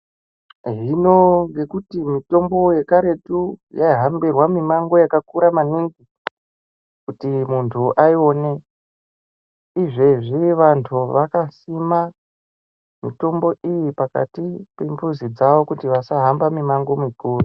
Hino ngekuti mutombo yekaretu yaihambirwamimango yakakuramaningi kuti muntu aione izvezvi vantu vakasima mitombo iyi pakatimbuzi dzavo kuti vasahamba mimango mikuru.